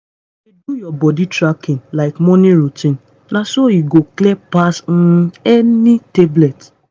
dey do your body tracking like morning routine na so e go clear pass um any tablet.